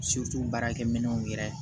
baarakɛ minɛnw yɛrɛ